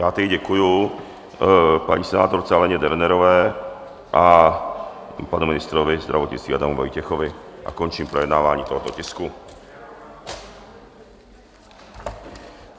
Já tedy děkuji paní senátorce Aleně Dernerové i panu ministrovi zdravotnictví Adamu Vojtěchovi a končím projednávání tohoto tisku.